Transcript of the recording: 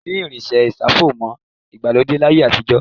Kòsí irinṣẹ́ ìṣàfọ̀mọ́ ìgbàlódé láyé àtijọ́.